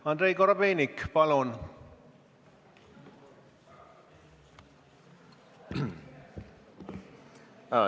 Andrei Korobeinik, palun!